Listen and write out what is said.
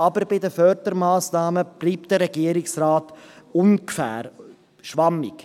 Aber bei den Fördermassnahmen bleibt der Regierungsrat im Ungefähren und schwammig.